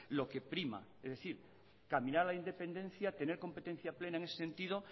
lo que prima es decir caminar a la independencia tener competencia plena en ese sentido